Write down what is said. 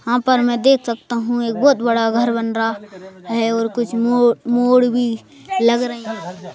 हां पर मैं देख सकता हूं एक बहुत बड़ा घर बन रहा है और कुछ मोड़ मोड़ भी लग रहे हैं।